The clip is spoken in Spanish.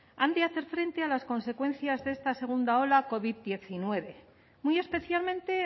han de hacer frente a las consecuencias de esta segunda ola covid hemeretzi muy especialmente